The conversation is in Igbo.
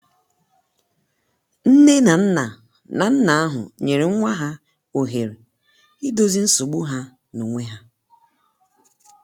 nne na nna na nna ahụ nyere nwa ha ohere idọzi nsogbụ ha n'onwe ha.